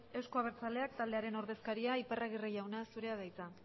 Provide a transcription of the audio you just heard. euzko abertzaleak taldearen ordezkaria iparragirre jauna zurea da hitza